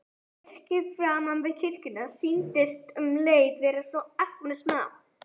Virkið framan við kirkjuna sýndist um leið svo agnarsmátt.